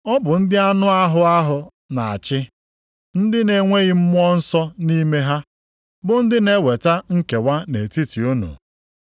Ọ bụ ndị anụ ahụ ha na-achị, ndị na-enweghị Mmụọ Nsọ nʼime ha, bụ ndị na-eweta nkewa nʼetiti unu.”